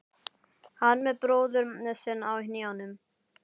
Hann með bróður sinn á hnjánum.